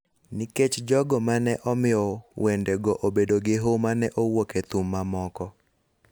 nikech jogo ma ne omiyo wendego obedo gi huma ne owuok e thum mamoko: